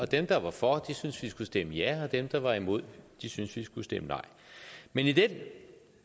dem der var for syntes vi skulle stemme ja og dem der var imod syntes vi skulle stemme nej men i den